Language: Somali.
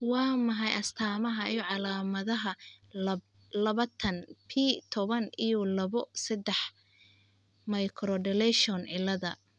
Waa maxay astamaha iyo calaamadaha labatan p toban iyo labo. sedax microdeletion cilaada?